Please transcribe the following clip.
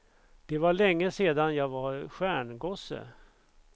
Det var länge sedan jag var stjärngosse.